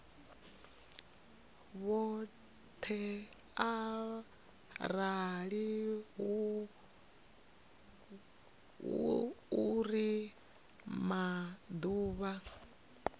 vhoṱhe arali hu uri maḓuvha